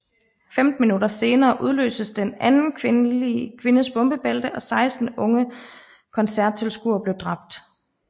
Femten minutter senere udløstes den anden kvindes bombebælte og 16 unge koncerttilskuere blev dræbt